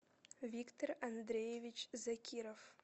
виктор андреевич закиров